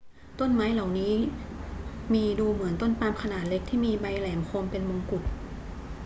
ต้นไม้เหล่านี้มีดูเหมือนต้นปาล์มขนาดเล็กที่มีใบไม้แหลมคมเป็นมงกุฎ